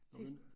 Sidst